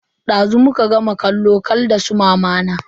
Dazu muka gama bidiyo kal da su mamana.